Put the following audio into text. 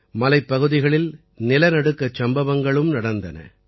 மலைப்பகுதிகளில் நிலநடுக்கச் சம்பவங்களும் நடந்தன